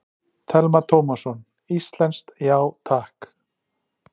Telma Tómasson: Íslenskt, já takk?